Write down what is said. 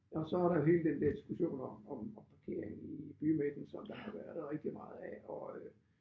Og så er der jo hele den der diskussion om om om parkering i bymidten som der har været rigtig meget af og øh